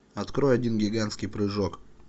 открой один гигантский прыжок